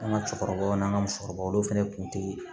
An ka cɛkɔrɔbaw n'an ka musokɔrɔbaw olu fɛnɛ kun te